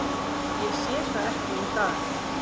Ég sé það ekki í dag.